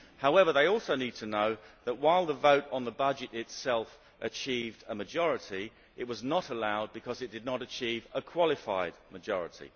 However, they also need to know that while the vote on the budget itself achieved a majority, it was not allowed because it did not achieve a qualified majority.